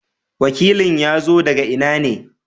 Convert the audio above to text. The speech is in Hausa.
wakilin ya zo daga ina ne?